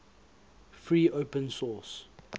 free open source